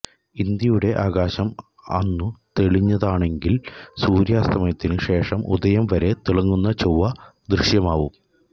ഇന്ത്യയുടെ ആകാശം അന്നു തെളിഞ്ഞതാണെങ്കില് സൂര്യാസ്തമനത്തിനു ശേഷം ഉദയം വരെ തിളങ്ങുന്ന ചൊവ്വ ദൃശ്യമാവും